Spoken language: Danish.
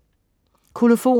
Kolofon